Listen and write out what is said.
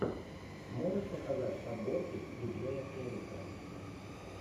можешь показать подборки диджеяэрика